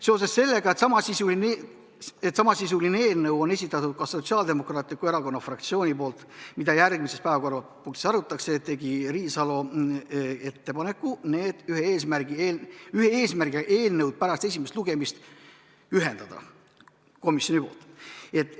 Seoses sellega, et samasisulise eelnõu on esitanud ka Sotsiaaldemokraatliku Erakonna fraktsioon, mida järgmises päevakorrapunktis arutatakse, tegi Riisalo ettepaneku need ühe eesmärgiga eelnõud pärast esimest lugemist komisjoni poolt ühendada.